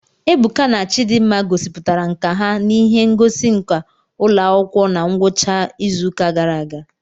Ebuka na Chidimma gosipụtara nkà ha n'ihe ngosi nka ụlọ akwụkwọ na ngwụcha izuụka gara aga